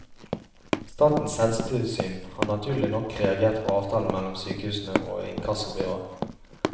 Statens helsetilsyn har naturlig nok reagert på avtalen mellom sykehusene og inkassobyrået.